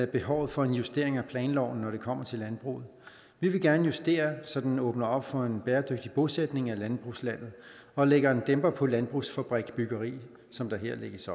behovet for en justering af planloven når det kommer til landbruget vi vil gerne justere så den åbner op for en bæredygtig bosætning af landbrugslandet og lægger en dæmper på landbrugsfabriksbyggeriet som der her lægges